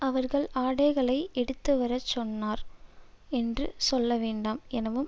அவர்கள் ஆடைகளை எடுத்துவரச் சென்றனர் என்று சொல்லவேண்டாம் எனவும்